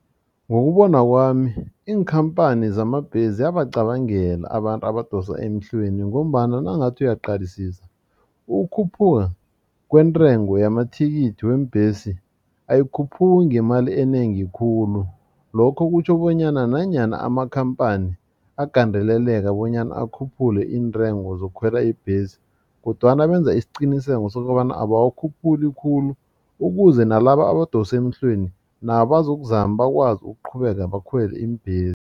Ngokubona kwami iinkhampani zamabhesi ziyabacabangela abantu abadosa emhlweni ngombana nawungathi uyaqalisisa ukukhuphuka kwentengo yamathikithi weembhesi ayikhuphuki ngemali enengi khulu lokho kutjho bonyana nanyana amakhamphani agandeleleke bonyana akhuphule iintengo zokukhwela ibhesi kodwana benza isiqiniseko sokobana abawakhuphuli khulu ukuze nalaba abadosa emhlweni nabo bazokuzama bakwazi ukuqhubeka bakhwele iimbhesi.